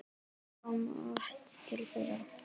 Ég kom oft til þeirra.